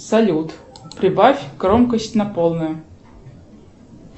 салют прибавь громкость на полную